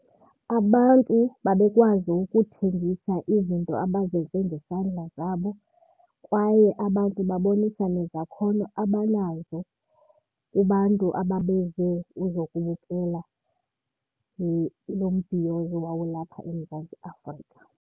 Abantu babekwazi ukuthengisa izinto abazenze ngezandla zabo kwaye abantu babonisa nezakhono abanazo kubantu ababeze uzokubukela lo mbhiyozo owawulapha eMzantsi Afrika.